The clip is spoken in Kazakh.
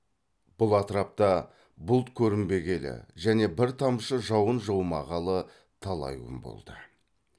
бұл атырапта бұлт көрінбегелі және бір тамшы жауын жаумағалы талай күн болды